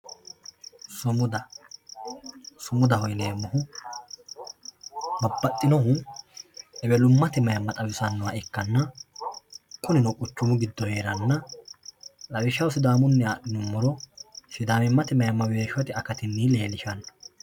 Sumuda, sumudaho yineemohu babaxinohu ewellu'mate mayimma xawisanoha ikkana kunino quchumu gido heerana lawishaho siddaamunniha adhinumoro sidamimate mayimma weeshote akatinni leelishano